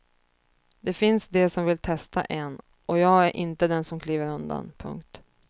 Det finns de som vill testa en och jag är inte den som kliver undan. punkt